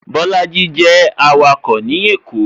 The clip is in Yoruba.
Bolaji jẹ awako ní èkó